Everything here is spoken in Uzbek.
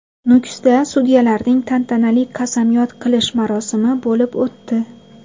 Nukusda sudyalarning tantanali qasamyod qilish marosimi bo‘lib o‘tdi.